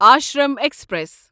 Ashram express